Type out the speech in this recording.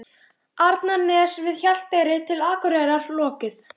Arnarness við Hjalteyri til Akureyrar lokið.